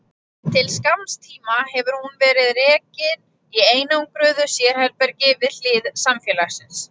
Til skamms tíma hefur hún verið rekin í einangruðu sérherbergi við hlið samfélagsins.